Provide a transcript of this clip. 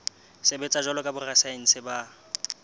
sebetsa jwalo ka borasaense ba